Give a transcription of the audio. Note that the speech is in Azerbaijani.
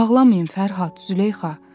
Ağlamayın Fərhad, Züleyxa.